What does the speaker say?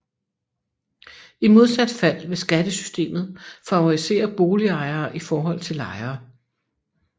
I modsat fald vil skattesystemet favorisere boligejere i forhold til lejere